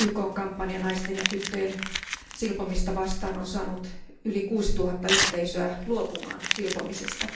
YKn kampanja naisten ja tyttöjen silpomista vastaan on saanut yli 6000 yhteisöä luopumaan silpomisesta.